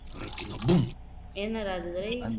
என்ன ராஜதுரை